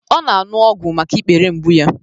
O5 na-aṅụ ọgwụ maka ikpere mgbu ya